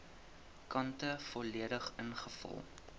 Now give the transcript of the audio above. kante volledig ingevul